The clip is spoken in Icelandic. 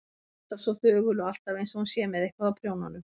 Alltaf svo þögul og alltaf einsog hún sé með eitthvað á prjónunum.